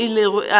ka moo a ilego a